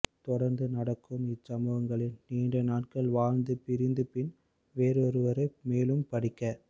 தொடர்ந்து நடக்கும் இச்சம்பவங்களில் நீண்ட நாட்கள் வாழ்ந்து பிரிந்து பின் வேறொருவரை மேலும் படிக்க